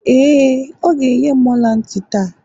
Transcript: ee, ọ ga-enye m ọla ntị taa